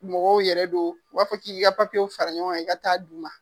Mɔgɔw yɛrɛ don u b'a fɔ k'i k'i ka papiyew fara ɲɔgɔn kan i k'a taa d'u ma.